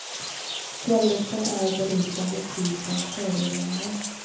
Fjälluften är berusande fri från föroreningar.